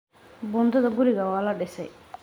Buundada guriga waa la dhisay.